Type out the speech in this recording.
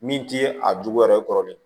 Min ti a jogo yɛrɛ kɔrɔ de